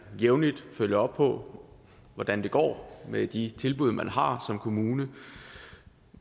jævnligt følger op på hvordan det går med de tilbud man har som kommune